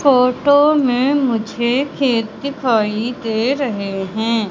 Photo में मुझे खेत दिखाई दे रहे हैं।